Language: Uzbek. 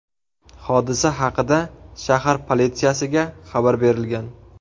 Hodisa haqida shahar politsiyasiga xabar berilgan.